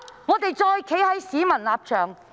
我們再站在市民的立場。